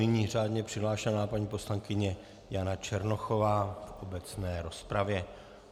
Nyní řádně přihlášená paní poslankyně Jana Černochová v obecné rozpravě.